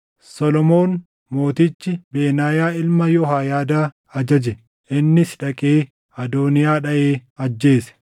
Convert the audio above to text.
Solomoon mootichi Benaayaa ilma Yehooyaadaa ajaje; innis dhaqee Adooniyaa dhaʼee ajjeese.